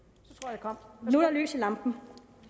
er der lys i lampen